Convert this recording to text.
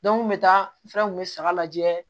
n kun bɛ taa n fɛ n kun bɛ saga lajɛ